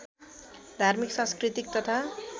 धार्मिक सांस्कृतिक तथा